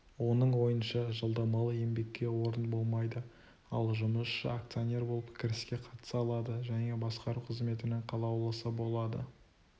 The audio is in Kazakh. оның ойынша жалдамалы еңбекке орын болмайды ал жұмысшы акционер болып кіріске қатыса алады және басқару қызметінің қалаулысы болады